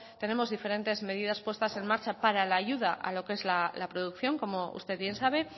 tenemos diferentes medidas puestas en marcha para la ayuda a lo que es la producción como usted bien sabe